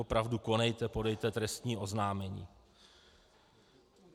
Opravdu konejte, podejte trestní oznámení.